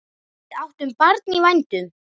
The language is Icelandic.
Við áttum barn í vændum.